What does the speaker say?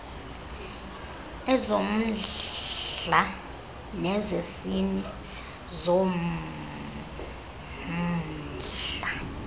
ezommndla nezesini zommndla